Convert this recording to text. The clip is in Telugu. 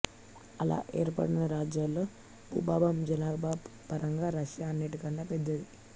అలా ఏర్పడిన రాజ్యాల్లో భూభాగం జనాభా పరంగా రష్యా అన్నింటికన్నా పెద్దది